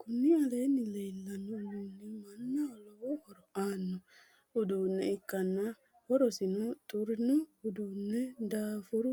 kuni aleenni leellanno uddunni mannaho lowo horo aanno uddunne ikkanna horosino xurino uduunne daafuru